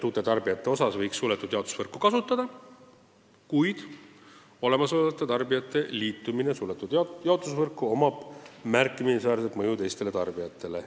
Uute tarbijate puhul võiks suletud jaotusvõrku kasutada, kuid olemasolevate tarbijate liitumisega suletud jaotusvõrku kaasneks märkimisväärne mõju teistele tarbijatele.